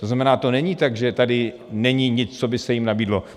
To znamená, to není tak, že tady není nic, co by se jim nabídlo.